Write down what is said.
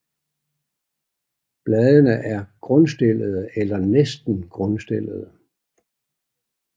Bladene er grundstillede eller næsten grundstillede